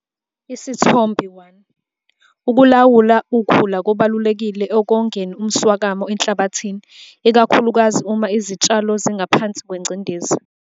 Isithombe 1- Ukulawula ukhula kubalulekile ekongeni umswakama enhlabathini, ikakhulukazi uma izitshalo zingaphansi kwengcindezi.